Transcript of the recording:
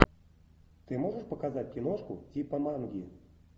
ты можешь показать киношку типа манги